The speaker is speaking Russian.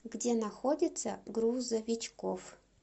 где находится грузовичкоф